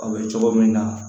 A bɛ cogo min na